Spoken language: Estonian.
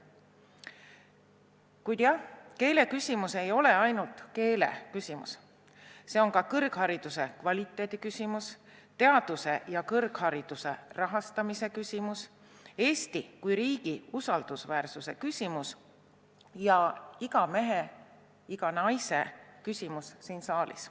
Kuid jah, keeleküsimus ei ole ainult keele küsimus, see on ka kõrghariduse kvaliteedi küsimus, teaduse ja kõrghariduse rahastamise küsimus, Eesti kui riigi usaldusväärsuse küsimus ning iga siin saalis oleva mehe ja naise küsimus.